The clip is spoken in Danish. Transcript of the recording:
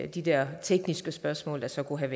de der tekniske spørgsmål der så kunne have